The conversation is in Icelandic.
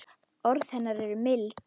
Orð hennar eru mild.